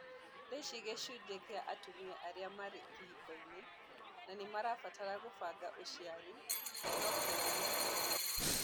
Thaici gĩcunjĩ kĩa atumia arĩa marĩ kĩhiko-inĩ na nĩmarabatara kũbanga ũciari no kĩranyiha